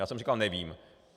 Já jsem říkal: Nevím.